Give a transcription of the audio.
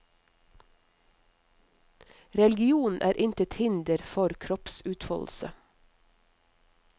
Religionen er intet hinder for kroppsutfoldelse.